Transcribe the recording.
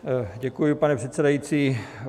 Děkuji, pane předsedající.